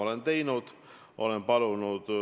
Aitäh teile!